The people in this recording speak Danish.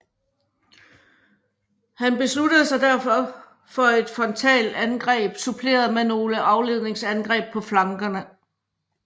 Han besluttede sig derfor for et frontalangreb suppleret med nogle afledningsangreb på flankerne